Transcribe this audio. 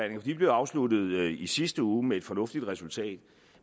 de blev afsluttet i sidste uge med et fornuftigt resultat